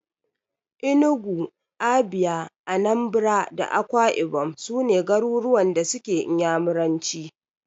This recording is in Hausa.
Enugu, Abia, Anambra da Akwai ibom su ne garuruwan da suke Inyamuranci.